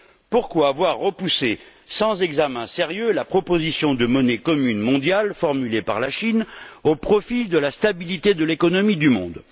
Pourquoi avoir repoussé sans examen sérieux la proposition de monnaie commune mondiale formulée par la Chine, au profit de la stabilité de l'économie du monde?